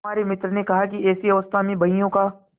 हमारे मित्र ने कहा कि ऐसी अवस्था में बहियों का